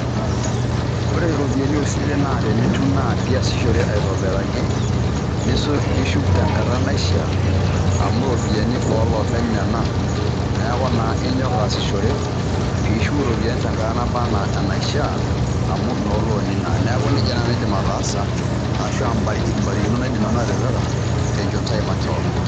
Ore iropiyiani osilen naa nenitum niasishore aitobiraki nishuk tenkata naishiaa amu iropiyiani oloopeny nena neku naa inyok aasishore pishuk iropiyiani tenkata naba anaa enaishiaa amu inolooni naa. neaku nejia nanu aidim ataasa ashuaa mbarikinot naidim nanu atipika tenchoto ai makewon.